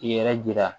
K'i yɛrɛ jira